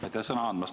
Aitäh sõna andmast!